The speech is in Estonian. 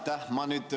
Aitäh!